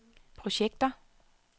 projekter